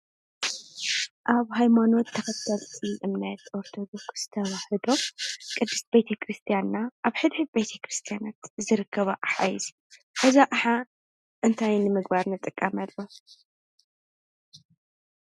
ኣብ ሃይማኖት ሃይማኖት ተኸተልቲ እምነት ኦርቶዶክስ ተዋህዶ ቅድስት ቤተ ክርስያና ኣብ ሕድሕድ ቤተክርስትያን ዝርከባ ኣቕሓ እዩ፡፡ እዚ ኣቕሓ እንታይ ንምግባር ንጥቀመሉ?